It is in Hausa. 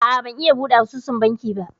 A'a ban iya buɗe asusun banki ba